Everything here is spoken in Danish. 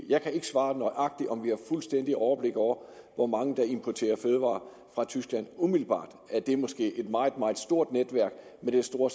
jeg kan ikke svare nøjagtigt på om vi har fuldstændigt overblik over hvor mange der importerer fødevarer fra tyskland umiddelbart er det måske et meget meget stort netværk med den store